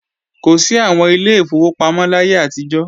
Kò sí àwọn Ilé ìfowópamọ́ láyé àtijọ́